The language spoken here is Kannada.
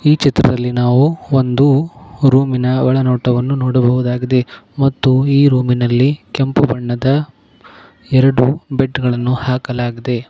ಈ ಚಿತ್ರದಲ್ಲಿ ನಾವು ಒಂದು ರೂಮಿನ ಒಳನೋಟವನ್ನು ನೋಡಬಹುದಾಗಿದೆ ಮತ್ತು ಈ ರೂಮಿ ನಲ್ಲಿ ಕೆಂಪು ಬಣ್ಣದ ಎರಡು ಬೆಡ್ಗ ಳನ್ನು ಹಾಕಲಾಗಿದೆ.